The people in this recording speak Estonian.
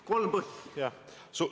Kolm põhjust palun!